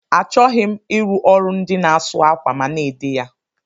Achọghị m ịrụ ọrụ ndị na asụ akwa ma na-ede ya.